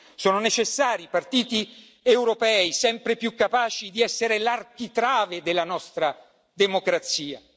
Sono necessari i partiti europei sempre più capaci di essere l'architrave della nostra democrazia.